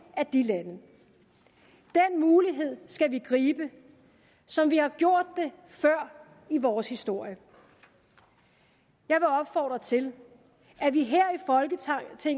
af de lande den mulighed skal vi gribe som vi har gjort det før i vores historie jeg vil opfordre til at vi her